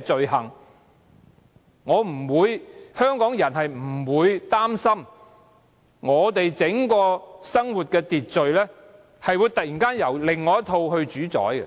罪行。香港人不用擔心整個生活秩序會突然間受另一套方式主宰。